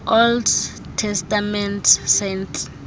old testament saints